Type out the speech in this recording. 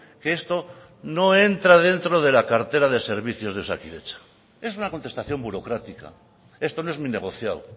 que esto no entra dentro de la cartera de servicios de osakidetza es una contestación burocrática esto no es mi negociado